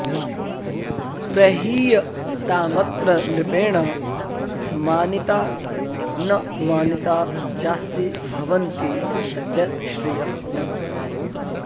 प्रहीयतामत्र नृपेण मानिता न मानिता चास्ति भवन्ति च श्रियः